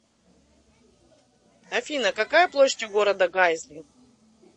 афина какая площадь у города гайзли